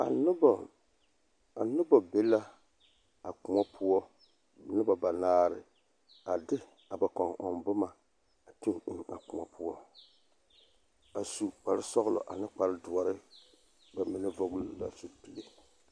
A noba be la a kõɔ poɔ noba banaare a de ba kɔmboma a toɡi eŋ a kõɔ poɔ a su kparsɔɡelɔ ane doɔre ba mine vɔɡele la zupile .